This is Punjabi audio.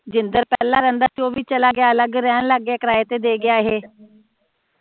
ਜਿੰਦਰ ਪਹਿਲਾ ਰਹਿੰਦਾ ਸੀ ਉਹ ਵੀ ਚਲਾ ਗਿਆ ਅਲਗ ਰਹਿਣ ਲਗ ਗਿਆ ਕਰਾਏ ਤੇ ਦੇ ਗਿਆ ਏਹੇ